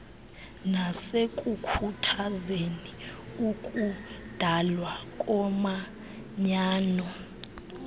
nasekukhuthazeni ukudalwa komanyano